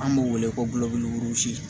An b'o wele ko